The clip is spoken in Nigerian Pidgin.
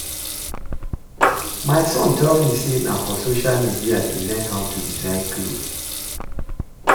My son tell me say na for social media e learn how to design cloth